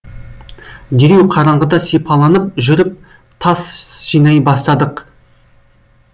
дереу қараңғыда сипаланып жүріп тас жинай бастадық